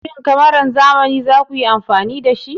Shin kamaran zamani za ku yi amfani da shi?